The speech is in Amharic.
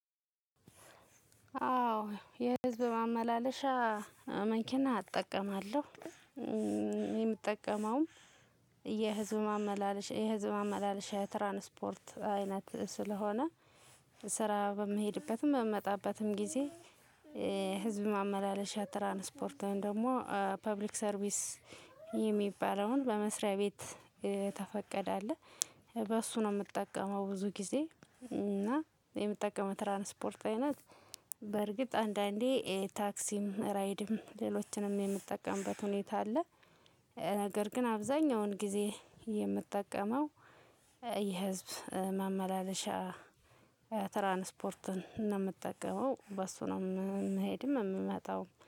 አዎ የህዝብ ማመላለሻ መኪና አጠቀማለሁ። የምጠቀመውም የህዝብ ማመላለሻ የህዝብ ማመላለሻ የትራንስፖርት አይነት ስለሆነ ስራ በምሄድበትም በምመጣበትም ጊዜ ህዝብ ማመላለሻ ትራንስፖርት ወይም ደግሞ ፐብሊክ ሰርቪስ የሚባለውን በመስሪያ ቤት የተፈቀደ አለ በሱ ነው የምጠቀመው ብዙ ጊዜ እና የምጠቀመው የትራንስፖርት አይነት በርግጥ አንዳንዴ ታክሲም፣ ራይድም፣ ሌሎችንም የምንጠቀምበት ሁኔታ አለ። ነገር ግን አብዛኛውን ጊዜ የምጠቀመው የህዝብ ማመላለሻ ትራንስፖርትን ነው የምጠቀመው በሱ ነው የምሄድም የምመጣውም።